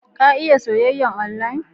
Ka iya soyyayar onlayin?